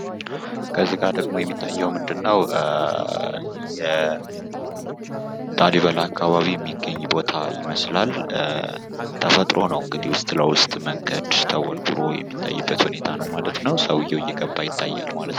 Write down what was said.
ከዚህ ጋር ደግሞ የሚታየው ምንድን ነው የላሊበላ አካባቢ የሚገኝ ቦታ ይመስላል ተፈጥሮ ነው:: እንግዲህ ዉስጥ ለዉስጥ መንገድ ቦርቡሮ የሚታይበት ሁኔታ ነው ማለት ነው ሰዉየው እየገባ ይገኛል ማለት ነው::